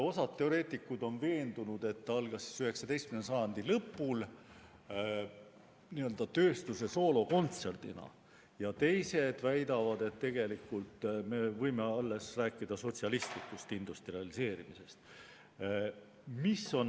Osa teoreetikuid on veendunud, et see algas 19. sajandi lõpul n‑ö tööstuse soolokontserdina, ja teised väidavad, et tegelikult me võime rääkida alles sotsialistlikust industrialiseerimisest.